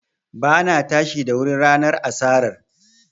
Ba na tashi da wuri ranar asarar